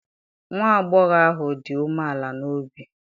nwa agbọghọ ahụ dị umeala n'obi?